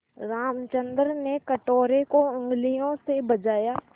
रामचंद्र ने कटोरे को उँगलियों से बजाया